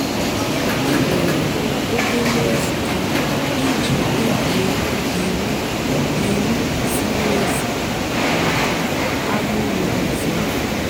é nwèré òbèlé ǹzùkọ́ ìjì kpèbíé íwú íwú zìrí èzí màkà àgbụ́rụ́ ọ̀zọ́.